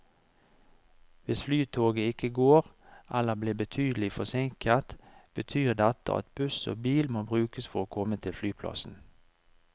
Hvis flytoget ikke går, eller blir betydelig forsinket, betyr dette at buss og bil må brukes for å komme til flyplassen.